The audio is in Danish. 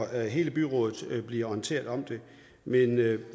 hele byrådet bliver orienteret om det men vi